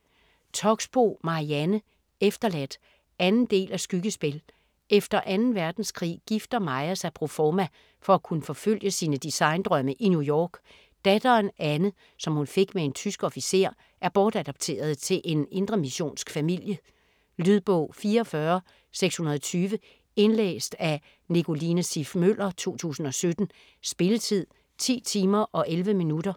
Toxboe, Marianne: Efterladt 2. del af Skyggespil. Efter 2. verdenskrig gifter Maja sig proforma for at kunne forfølge sine design-drømme i New York. Datteren Anne, som hun fik med en tysk officer, er bortadopteret til en indremissionsk familie. Lydbog 44620 Indlæst af Nicoline Siff Møller, 2017. Spilletid: 10 timer, 11 minutter.